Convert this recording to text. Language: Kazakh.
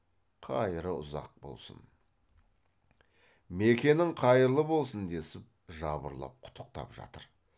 қайыры ұзақ болсын мекенің қайырлы болсын десіп жабырлап құттықтап жатыр